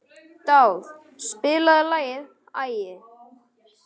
Dáð, spilaðu lagið „Æði“.